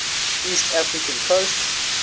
east african coast